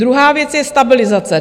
Druhá věc je stabilizace.